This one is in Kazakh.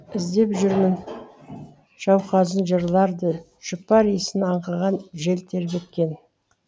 іздеп жүрмін жауқазын жырларды жұпар исін аңқыған жел тербеткен